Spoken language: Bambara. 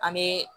An bɛ